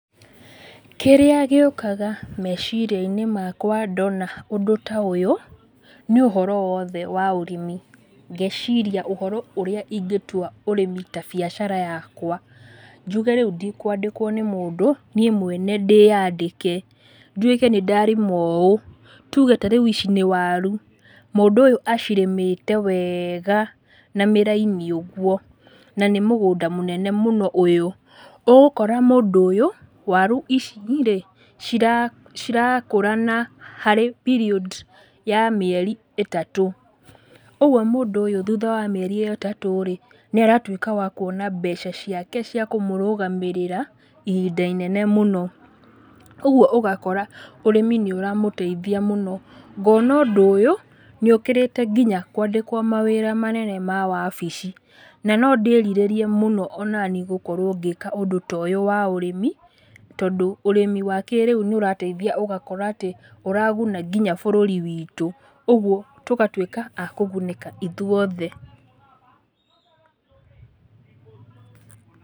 Kĩrĩa gĩũkaga meciria-inĩ makwa ndona ũndũ ta ũyũ, nĩ ũhoro wothe wa ũrĩmi. Ngeciria ũrĩa wothe ingĩtua ũrĩmi ta biacara yakwa, njuge rĩu ndikwandĩkwo nĩ mũndũ, niĩ mwene ndĩyandĩke, ndwĩke nĩndarĩma ũ, tuge ta rĩu ici nĩ waru, mũndũ ũyũ acirĩmĩte wega, na mĩraini ũguo, nanĩ mũgũnda mũnene ũyũ, ũgũkora mũndũ ũyũ waru ici rĩ ci cirakũra na harĩ period ya mĩeri ĩtatũ. Ũguo mũndũ ũyũ thutha wa mĩeri ĩyo ĩtatũ rĩ, nĩaratwĩka wa kuona mbeca ciake cia kũmũrũgamĩrĩra ihinda inene mũno. Ũguo ũgakora, ũrĩmi nĩũramũteithia mũno, ngona ũndũ ũyũ, nĩũkĩrĩte nginya kwandĩkwo mawĩra manene ma wabici, na nondĩrirĩrie mũno onaniĩ gũkorwo ngĩka ũndũ ta ũyũ wa ũrĩmi, tondũ ũrĩmi wa kĩrĩu nĩũrateithia ũgakora atĩ, ũraguna nginya bũrũri witũ, ũguo tũgatwĩka a kũgunĩka ithuothe